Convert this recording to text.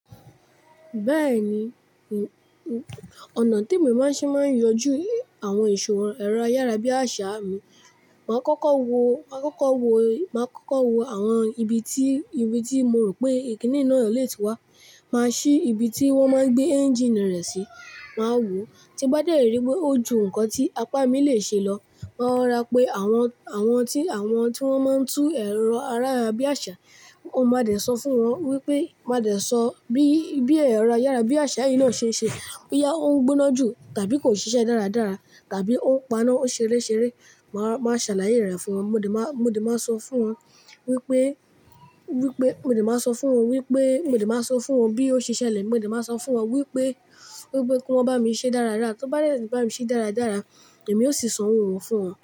Bẹ́ẹ̀ni, ọ̀nà tí èmi máa ń ṣe máa ń yanjú àwọn ìṣòro ẹ̀rọ ayárabíàṣá mi. Màá kọ́kọ́ wo àwọn ibi tí mo rò pé kínní náà lè ti wá. Màá ṣí ibi tí wón máa ń gbé ẹ́ńjíìnì rẹ̀ sí, màá wo. Tí bá dé rí pé ó ju nǹkan tí apá mi lè ṣe lọ, máa rora pé àwọn tí wón máa ń tún ẹ̀rọ ayárabíàṣá, mo máa dẹ̀ sọ bí ẹ̀rọ ayárabíàṣá yìí náà ṣe ń ṣe, bóyá ó ń gbóná jù tàbí kò ṣiṣẹ́ dáradára tàbí ó ń paná ṣeré ṣeré. Màá ṣàlàyé rẹ̀ fún wọn. Mo de maa so fún wọn wipe, mo dẹ̀ máa sọ fún wọn bí ó ṣe ṣẹlẹ̀. Mo dẹ̀ máa sọ fún wọn wípé kí wọ́n bá mi ṣe dáradára. Tó bá dẹ̀ ri bá mi ṣe dáradára, èmi ó sì san wọn fún wọn.